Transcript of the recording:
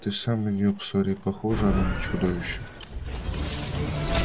ты сам на нее посмотри похожа она на чудовище